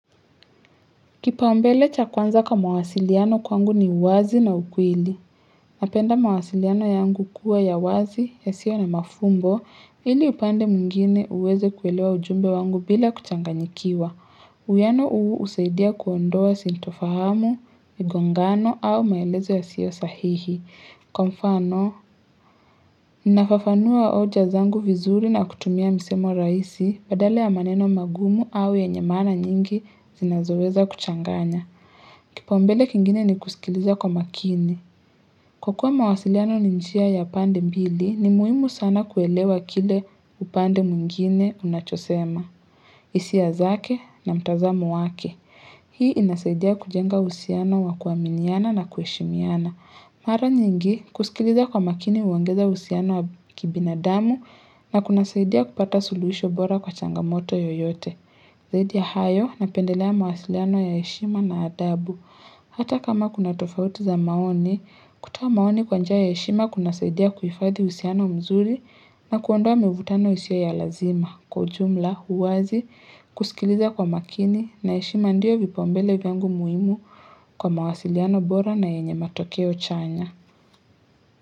Kipaumbele cha kwanza kwa mawasiliano kwangu ni uwazi na ukweli. Napenda mawasiliano yangu kuwa ya wazi, yasio na mafumbo, ili upande muingine uweze kuelewa ujumbe wangu bila kuchanganyikiwa. Uyano husaidia kuondoa sintofahamu, migongano au maelezo ya sio sahihi. Kwa mfano, nafafanua hoja zangu vizuri na kutumia misemo raisi badala ya maneno magumu au yenye mana nyingi zinazoweza kuchanganya. Kipaumbele kingine ni kusikiliza kwa makini. Kwa kuwa mawasiliano ninjia ya pande mbili, ni muhimu sana kuelewa kile upande muingine unachosema. Isia zake na mtazamo wake. Hii inasaidia kujenga usiano wa kuaminiana na kuheshimiana. Mara nyingi, kusikiliza kwa makini uongeza usiano wa kibinadamu na kunasaidia kupata suluhisho bora kwa changamoto yoyote. Zaidi ya hayo na pendelea mawasiliano ya yeshima na adabu. Hata kama kuna tofautu za maoni, kutowa maoni kwanjia ya heshima kunasaidia kuhifadhi usiano mzuri na kuondoa mevutano yasio ya lazima. Kwa ujumla, huwazi, kusikiliza kwa makini na heshima ndiyo vipaumbele vyangu muimu kwa mawasiliano bora na yenye matokeo chanya.